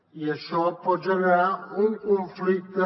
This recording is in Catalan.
i això pot generar un conflicte